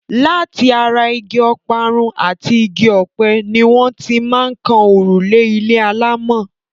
Láti ara igi ọ̀parun àti igi ọ̀pẹ ni wọ́n ti máa ń kan òrùlé ilé alámọ̀.